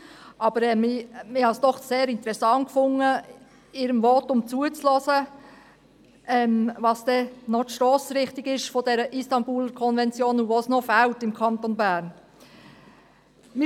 Ich fand es aber doch sehr interessant, ihrem Votum zuzuhören, was die Stossrichtung der Istanbul-Konvention sei und woran es im Kanton Bern noch fehle.